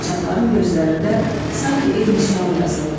Qaçaqların gözlərində sanki eyni sual yazıldı.